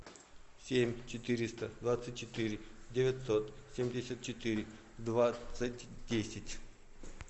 семь четыреста двадцать четыре девятьсот семьдесят четыре двадцать десять